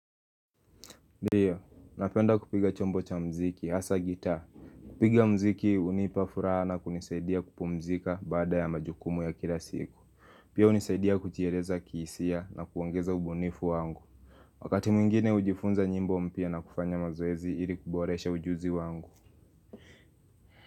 Ndiyo, napenda kupiga chombo cha muziki, hasa gitaa kupiga muziki hunipa furaha na kunisaidia kupumzika baada ya majukumu ya kila siku. Pia hunisaidia kujieleza kihisia na kuongeza ubunifu wangu. Wakati mwingine hujifunza nyimbo mpya na kufanya mazoezi ili kuboresha ujuzi wangu.